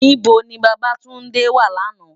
Nibó ni Babatunde wá làná?